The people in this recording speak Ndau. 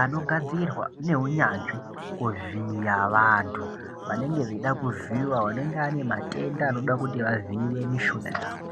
anogadzirwa neunyanzvi kuvhiya vanthu vanenge veida kuvhiyiwa, vanenge vane matenda anoda kuti vavhiyiwe mishuna yawo.